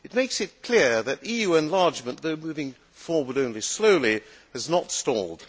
It makes it clear that EU enlargement, though moving forward only slowly, has not stalled.